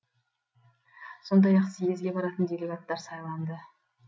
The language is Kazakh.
сондай ақ съезге баратын делегаттар сайланды